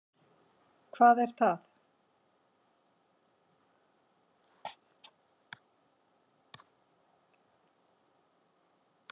Hvar er það?